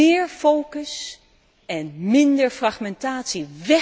Meer focus en minder fragmentatie.